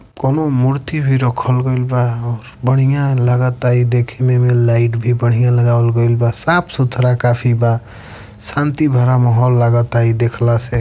कौनो मूर्ति भी रखल गईल बा और बढ़िया लागता ई देखने में लाइट भी बढ़िया लगावल गईल बा साफ सुथरा काफी बा शांति भरा माहौल लागता ई देखला से।